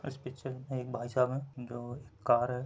और इस पिक्चर मे एक भाईसाब है जो एक कार है।